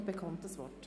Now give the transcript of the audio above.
Sie erhält das Wort.